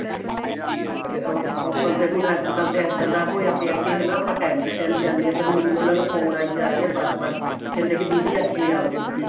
ਤੇ ਉਹ ਅੱਬਲ ਤੇ ਹੁਣ ਅੱਜਕਲ ਏਹਦਾ ਦਾ ਹੋਇਆ ਪਇਆ ਕੇ ਹਨਾ ਆਪਾਂ ਟੇਮ ਤੇ ਟੇਮ ਜਾਨੇ ਹਾਂ ਪਰ ਮੈਨੂੰ ਉਹਨਾ ਦਾ ਫੋਨ ਆਈ ਜਾ ਰਿਹਾ ਬਾਰ ਬਾਰ ਕਹਿੰਦੇ ਕੇ ਦੀਦੀ ਅੱਜ ਹੀ ਆਓ ਤੁਸੀਂ